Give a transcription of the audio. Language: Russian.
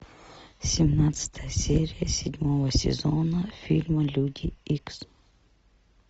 семнадцатая серия седьмого сезона фильма люди икс